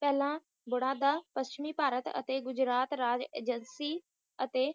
ਪਹਿਲਾਂ ਗੂੜਾਦਾ ਪੱਛਮੀ ਭਾਰਤ ਅਤੇ ਗੁਜਰਾਤ ਰਾਜ Agency ਅਤੇ